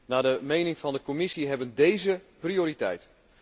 Naar de mening van de Commissie hebben deze prioriteit.